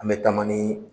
An bɛ taama ni